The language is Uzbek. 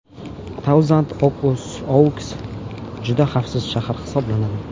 Tauzand-Ouks juda xavfsiz shahar hisoblanadi.